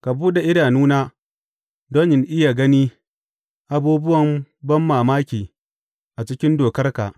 Ka buɗe idanuna don in iya gani abubuwan banmamaki a cikin dokarka.